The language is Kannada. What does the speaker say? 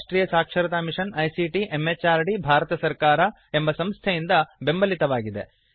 ಇದು ರಾಷ್ಟ್ರಿಯ ಸಾಕ್ಷರತಾ ಮಿಷನ್ ಐಸಿಟಿ ಎಂಎಚಆರ್ಡಿ ಭಾರತ ಸರ್ಕಾರ ಎಂಬ ಸಂಸ್ಥೆಯಿಂದ ಬೆಂಬಲಿತವಾಗಿದೆ